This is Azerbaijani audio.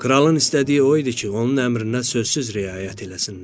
Kralın istədiyi o idi ki, onun əmrinə sözsüz riayət eləsinlər.